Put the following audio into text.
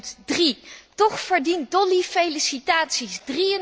2003. Toch verdient Dolly felicitaties.